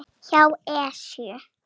hjá Esju.